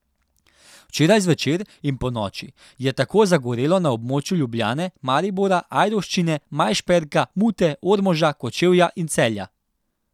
Včeraj zvečer in ponoči je tako zagorelo na območju Ljubljane, Maribora, Ajdovščine, Majšperka, Mute, Ormoža, Kočevja in Celja.